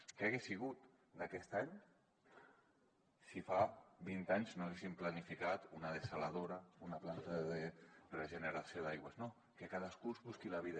què hagués sigut d’aquest any si fa vint anys no haguéssim planificat una dessaladora una planta de regeneració d’aigües no que cadascú es busqui la vida